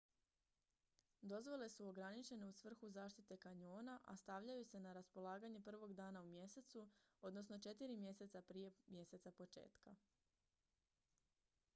dozvole su ograničene u svrhu zaštite kanjona a stavljaju se na raspolaganje prvog dana u mjesecu odnosno četiri mjeseca prije mjeseca početka